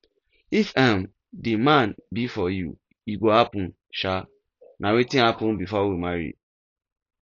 if um the man be for you e go happen um na wetin happen before we marry